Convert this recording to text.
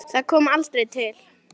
Það kom aldrei til.